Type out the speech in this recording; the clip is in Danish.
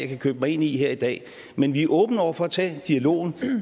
kan købe mig ind i her i dag men vi er åbne over for at tage dialogen